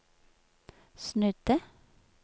snudde